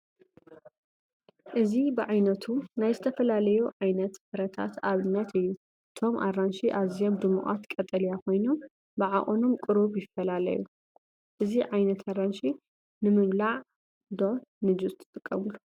እዚ ብዓይነቱ ናይ ዝተፈላለዩ ዓይነት ፍረታት ኣብነት እዩ። እቶም ኣራንሺ ኣዝዮም ድሙቓት ቀጠልያ ኮይኖም ብዓቐኖም ቁሩብ ይፈላለዩ። እዚ ዓይነት ኣራንሺ ንምብላዕ ዶ ንጁስ ትጥቀምሉ?